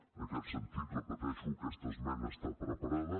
en aquest sentit ho repeteixo aquesta esmena està preparada